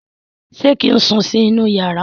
ṣe kín sùn sí inú iyàrá?